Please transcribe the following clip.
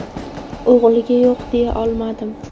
O‘g‘liga yo‘q deya olmadim.